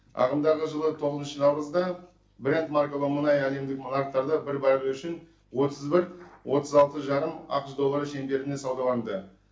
ағымдағы жылы тоғызыншы наурызда брент маркалы мұнай әлемдік нарықтарда бір баррелі үшін отыз бір отыз алты жарым ақш доллары шеңберінде саудаланды